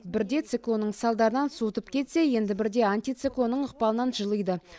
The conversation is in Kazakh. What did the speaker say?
бірде циклонның салдарынан суытып кетсе енді бірде антициклонның ықпалынан жылиды